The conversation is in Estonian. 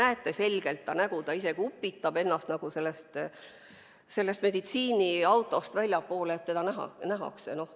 Te näete selgelt ta nägu, ta isegi upitab ennast sellest meditsiiniautost välja, et teda nähtaks.